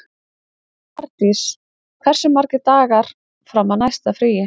Mardís, hversu margir dagar fram að næsta fríi?